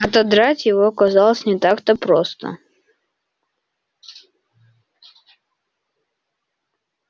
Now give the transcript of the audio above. отодрать его казалось не так-то просто